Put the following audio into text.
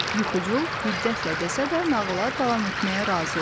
Yuxucul hiddətlə desə də nağıla davam etməyə razı oldu.